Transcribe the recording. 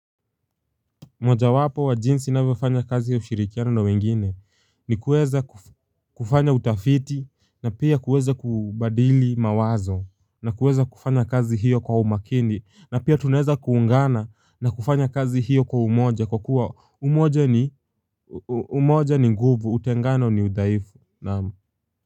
Moja wapo wa jinsi navyofanya kazi ya ushirikiana na wengine ni kueza kufanya utafiti na pia kueza kubadili mawazo na kueza kufanya kazi hiyo kwa umakini na pia tuneza kuungana na kufanya kazi hiyo kwa umoja kwa kuwa umoja ni umoja ni nguvu utengano ni udaifu.